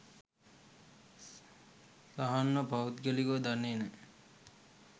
සහන්ව පෞද්ගලිකව දන්නෙ නෑ.